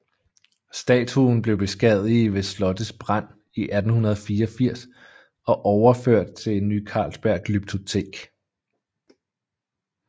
Statuen blev beskadiget ved slottets brand i 1884 og overført til Ny Carlsberg Glyptotek